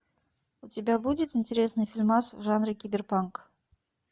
у тебя будет интересный фильмас в жанре киберпанк